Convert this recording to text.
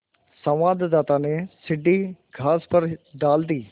संवाददाता ने सीढ़ी घास पर डाल दी